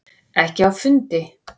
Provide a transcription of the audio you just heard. Ekki á fundi.